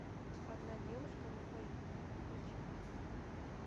одна девушка на двоих включи